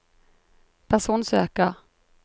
personsøker